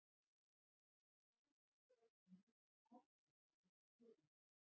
En hvernig stendur á þessu mikla hatri á milli félaganna?